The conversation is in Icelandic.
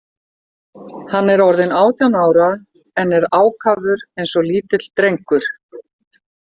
Hann er orðinn átján ára en er ákafur eins og lítill drengur.